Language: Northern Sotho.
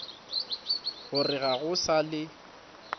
gore ga go sa le